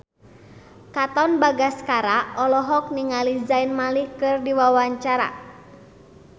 Katon Bagaskara olohok ningali Zayn Malik keur diwawancara